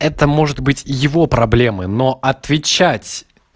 это может быть его проблемы но отвечать